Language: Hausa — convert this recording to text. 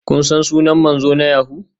Kun san sunan manzo na yahoo?